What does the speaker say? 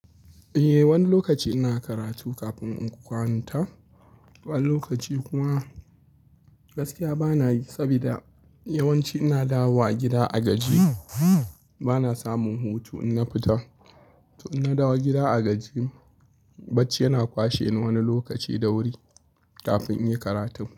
Eh, wani lokaci ina karatu kafin in kwanta. Wani lokaci kuma gaskiya bana yi saboda yawanci ina dawowa gida a gajiye. Bana samun hutu in na fita. To in na dawo gida a gajiye, bacci yana kwashe ni wani lokaci da wuri kafin in yi karatun.